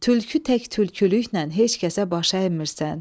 Tülkü tək tülkülüklə heç kəsə baş əymirsən.